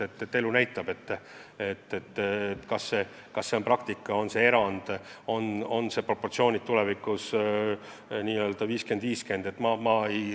Elu näitab, kas see praktika on erand või on proportsioonid tulevikus näiteks 50 : 50.